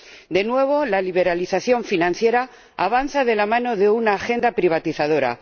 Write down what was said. De nuevo, la liberalización financiera avanza de la mano de una agenda privatizadora.